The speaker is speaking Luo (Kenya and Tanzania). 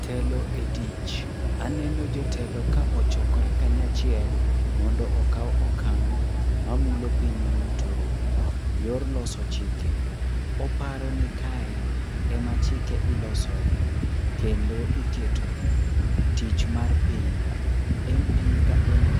Telo e tich. Aneno jotelo ka ochokore kanyachiel mondo okaw okang' mamulo piny duto. Yor loso chike. Oparo nikae ema chike ilosoe. Kendo iketoe tich mar piny. MP ka MP